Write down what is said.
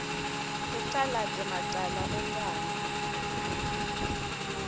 icalate macala onkhana